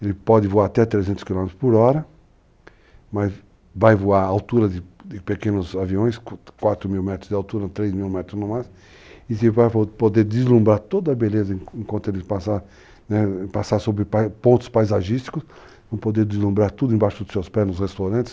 Ele pode voar até 300 km por hora, mas vai voar a altura de pequenos aviões, 4 mil metros de altura, 3 mil metros no máximo, e vai poder deslumbrar toda a beleza enquanto ele passar, né, sobre pontos paisagísticos, vai poder deslumbrar tudo embaixo dos seus pés nos restaurantes.